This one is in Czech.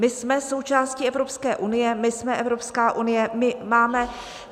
My jsme součástí Evropské unie, my jsme Evropská unie.